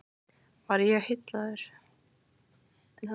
Var ég heillaður?